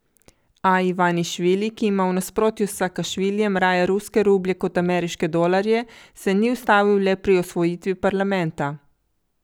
Gotovo, Afrika bo naslednja destinacija, pa otoške države Azije ...